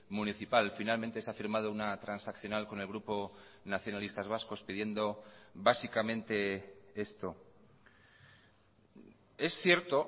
municipal finalmente se ha firmado una transaccional con el grupo nacionalistas vascos pidiendo básicamente esto es cierto